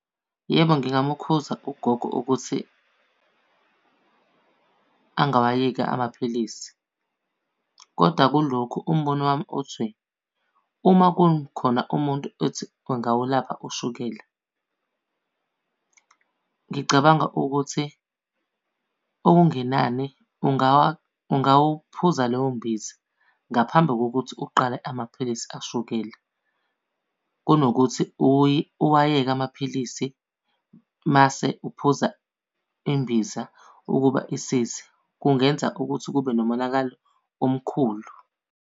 Yebo, ngingamukhuza ugogo ukuthi angawayeki amaphilisi. Kodwa kulokhu umbono wami uthi, uma kukhona umuntu ethi engawulapha ushukela, ngicabanga ukuthi okungenani ungawuphuza leyo mbiza ngaphambi kokuthi uqale amaphilisi ashukela. Kunokuthi uwayeke amaphilisi mase uphuza imbiza ukuba isize. Kungenza ukuthi kube nomonakalo omkhulu.